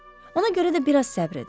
Ona görə də biraz səbir edin.